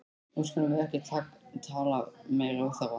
Nú skulum við ekki tala meiri óþarfa!